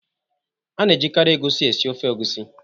A na-ejikarị egusi esi ofe egusi